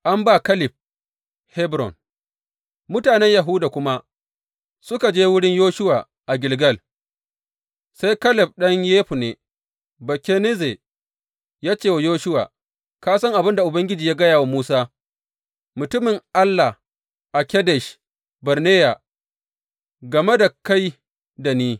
An ba Kaleb Hebron Mutanen Yahuda kuma suka je wurin Yoshuwa a Gilgal, sai Kaleb ɗan Yefunne Bakenizze ya ce wa Yoshuwa, Ka san abin da Ubangiji ya gaya wa Musa, mutumin Allah a Kadesh Barneya game da kai da ni.